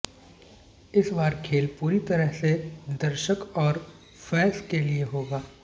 इस बार खेल पूरी तरह से दर्शक और फैस के लिए होगा